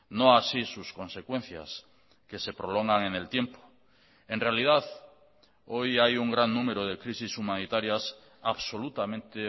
no así sus consecuencias que se prolongan en el tiempo en realidad hoy hay un gran número de crisis humanitarias absolutamente